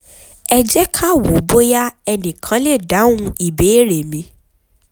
ẹ jẹ́ ká wò bóyá ẹnìkan lè dáhùn ìbéèrè mi